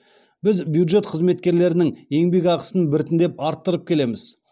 біз бюджет қызметкерлерінің еңбекақысын біртіндеп арттырып келеміз